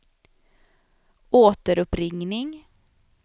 återuppringning